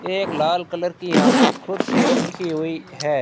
एक लाल कलर की यहां पर कुर्सी रखी हुई है।